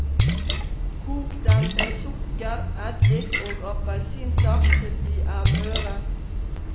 Kok dem med sukker, eddik og appelsinsaft til de er møre.